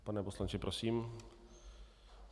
Pane poslanče, prosím.